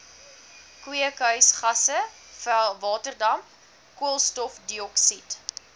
kweekhuisgasse waterdamp koolstofdioksied